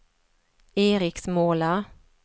Eriksmåla